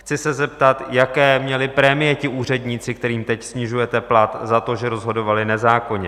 Chci se zeptat, jaké měli prémie ti úředníci, kterým teď snižujete plat za to, že rozhodovali nezákonně?